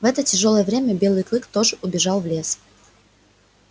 в это тяжёлое время белый клык тоже убежал в лес